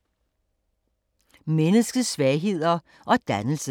Menneskets svagheder og dannelse